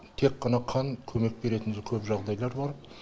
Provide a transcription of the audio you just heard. тек қана қан көмек беретін көп жағдайлар бар